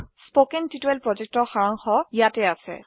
কথন শিক্ষণ প্ৰকল্পৰ সাৰাংশ ইয়াত আছে